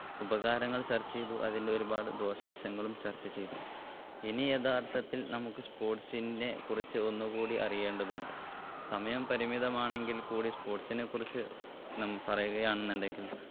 ഉപകാരങ്ങൾ ചർച്ച ചെയ്തു അതിന്റെ ഒരുപാട് ദോശ വശങ്ങളും ചർച്ച ചെയ്തു ഇനി യഥാർത്ഥത്തിൽ നമ്മുക്ക് sports നെ കുറിച്ച് ഒന്നും കൂടി അറിയേണ്ടതുണ്ട് സമയം പരിമിതമാണെങ്കിൽ കൂടി sports നെ കുറിച്ച് നാം പറയുകയാണെന്നുണ്ടെങ്കിൽ